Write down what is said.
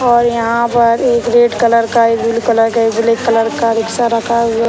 और यहाँ पर एक रेड कलर का एक ब्लू कलर का एक ब्लैक कलर का रिक्शा रखा है ये।